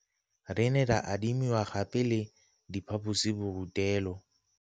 Re ne ra adimiwa gape le diphaposiborutelo